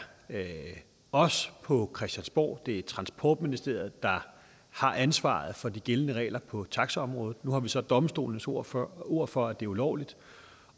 os på christiansborg det er transportministeriet der har ansvaret for de gældende regler på taxaområdet nu har vi så domstolenes ord for ord for at det er ulovligt